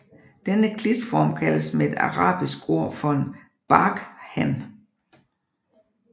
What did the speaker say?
Denne klitform kaldes med et arabisk ord for en barkhan